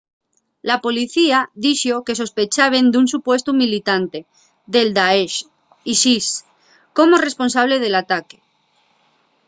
la policía dixo que sospechaben d'un supuestu militante del daesh isis como responsable del ataque